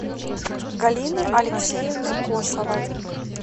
галины алексеевны косовой